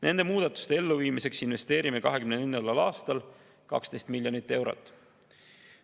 Nende muudatuste elluviimiseks investeerime 2024. aastal 12 miljonit eurot.